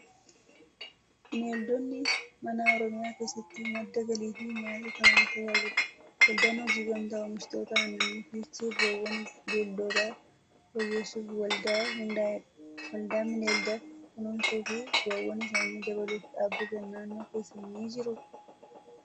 Bineeldonni manaa Oromiyaa keessatti madda galii fi nyaataa ta'uun tajaajilu. Waldaan Hojii Gamtaa Oomishtoota Aannanii Fiichee bu'aawwan bineeldotaa fooyyessuuf waldaa hundaa'edha. Waldaan bineelda kunuunsuu fi bu'aawwan isaanii dabaluuf dhaabbatan naannoo keessan ni jiruu?